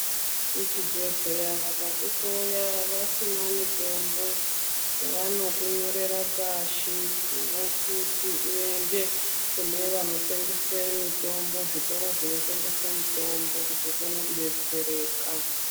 Kuchibhedhleya vakakuhloya vasina mitombo vanokunyorera pashi vokuti uyende kune vanotengese mitombo zvitoro zvinotengese mitombo kuti uone kudetsereka.